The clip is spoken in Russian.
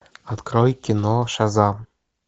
открой кино шазам